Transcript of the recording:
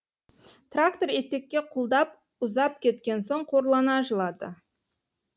трактор етекке құлдап ұзап кеткен соң қорлана жылады